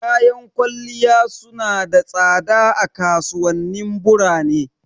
Kayan kwalliya su na da tsada a kasuwanin burane.